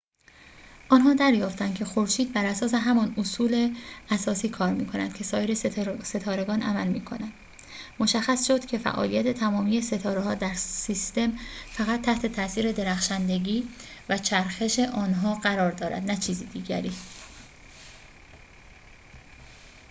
آنها دریافتند که خورشید بر اساس همان اصول اساسی کار می‌کند که سایر ستارگان عمل می‌کنند مشخص شد که فعالیت تمامی ستاره‌ها در سیستم فقط تحت تاثیر درخشندگی و چرخش آنها قرار دارد نه چیز دیگری